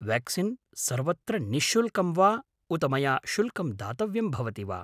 Vaccine सर्वत्र निःशुल्कं वा उत मया शुल्कं दातव्यं भवति वा?